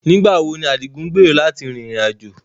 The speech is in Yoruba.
Nigbawo ni Adigun ngbero lati rin irin-ajo?